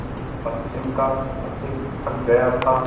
पश्चिम का पथिक थक गया था